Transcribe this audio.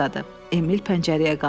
Emil pəncərəyə qalxdı.